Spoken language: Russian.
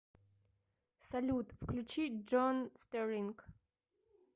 салют включи джон стэрлинг